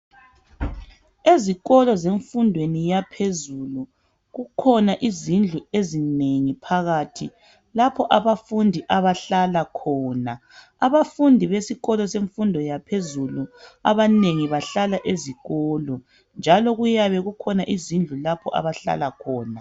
Ezikolo zemfundweni yaphezulu, kukhona izindlu ezinengi phakathi, lapho abafundi abahlala khona. Abafundi besikolo semfundo yaphezulu abanengi bahlala ezikolo njalo kuyabe kukhona izindlu lapho abahlala khona.